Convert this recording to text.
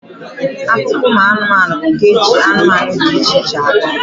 Akụkọ ụmụanụmanụ bụ nke eji anụmanụ dị iche iche akọ.